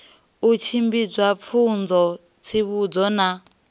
u tshimbidza pfunzo tsivhudzo na